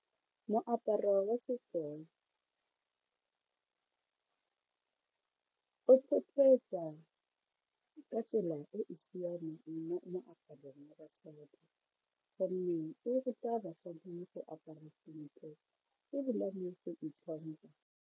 Moaparo wa setso o ka tsela e e siameng mo moaparong wa basadi gonne o ruta basadi go apara sentle ebilane go itlhompha.